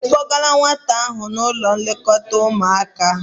Ị kpọgala nwata ahụ n'ụlọ nlekọta ụmụaka?